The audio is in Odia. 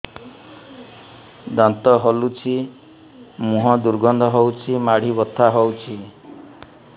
ଦାନ୍ତ ହଲୁଛି ମୁହଁ ଦୁର୍ଗନ୍ଧ ହଉଚି ମାଢି ବଥା ହଉଚି